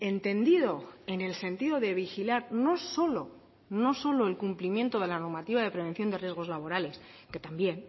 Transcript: entendido en el sentido de vigilar no solo no solo el cumplimiento de la normativa de prevención de riesgos laborales que también